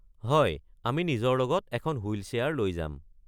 হয়, আমি নিজৰ লগত এখন হুইল চেয়াৰ লৈ যাম।